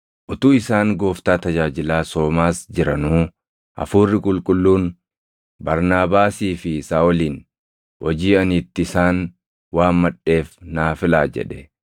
Utuu isaan Gooftaa tajaajilaa, soomaas jiranuu Hafuurri Qulqulluun, “Barnaabaasii fi Saaʼolin hojii ani itti isaan waammadheef naa filaa” jedhe.